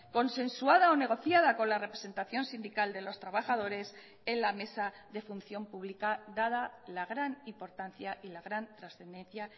consensuada o negociada con la representación sindical de los trabajadores en la mesa de función pública dada la gran importancia y la gran trascendencia